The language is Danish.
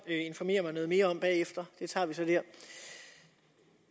informere mig noget mere om bagefter det tager vi så der